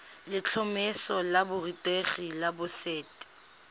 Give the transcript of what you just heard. letlhomeso la borutegi la boset